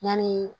Yani